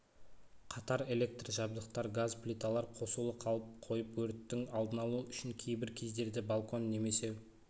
қатар электр жабдықтар газ плиталар қосулы қалып қойып өрттің алдын-алуы үшін кейбір кездерде балкон немесе